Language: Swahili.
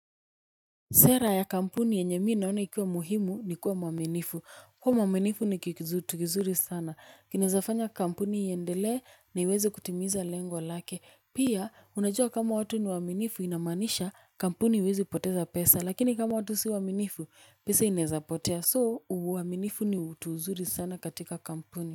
Sera ya kampuni yenye mii naona ikiwa muhimu ni kuwa mwaminifu. Kua mwaminifu ni kitu kizuri sana. Kinezafanya kampuni iendelee na iweze kutimiza lengo lake. Pia, unajua kama watu ni waaminifu inamanisha kampuni iwezi poteza pesa. Lakini kama watu si waaminifu, pesa inaezapotea. So, uwaminifu ni utuzuri sana katika kampuni.